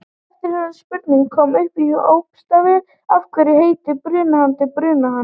Eftirfarandi spurning kom upp í hópastarfi: Af hverju heitir brunahani brunahani?